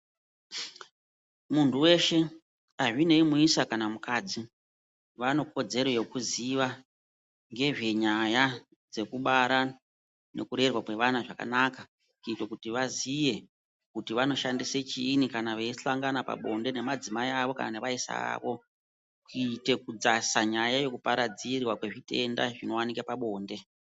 Muntu weshe azvinei muisa kana mukadzi, vanekodzero dzekuziya ngezvenyaya dzekubara nekurerwa kwevana zvakanaka kuitira vaziye kuti vanoshandisa chiinyi kana veihlangana pabonde nemadzimai awo kana nevaisa vavo kuite kudzasa nyaya yekuparadzirwa kwezvitenda zvinowanikwe pabonde.